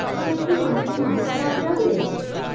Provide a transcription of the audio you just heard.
ওখানে কি মাছের মাথা পাওয়া যাবে?